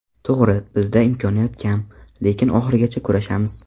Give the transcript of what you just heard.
To‘g‘ri, bizda imkoniyat kam, lekin oxirigacha kurashamiz.